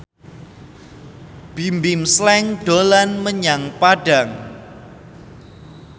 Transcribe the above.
Bimbim Slank dolan menyang Padang